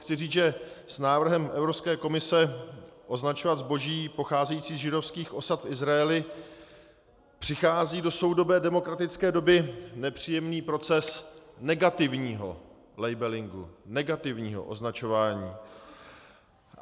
Chci říct, že s návrhem Evropské komise označovat zboží pocházející z židovských osad v Izraeli přichází do soudobé demokratické doby nepříjemný proces negativního labelingu, negativního označování.